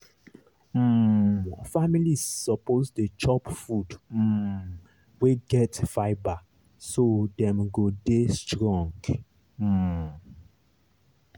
um families suppose dey chop food um wey get fibre so dem go dey strong. um